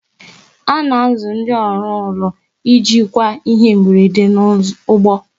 A na-azụ ndị ọrụ ụlọ ijikwa ihe mberede n'ụgbọ